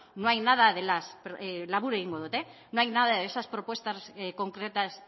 no hay nada de esas labur egingo dut propuestas concretas